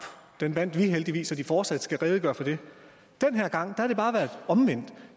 vandt vi heldigvis så de fortsat skal redegøre for det den her gang har det bare været omvendt